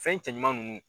Fɛn cɛ ɲuman ninnu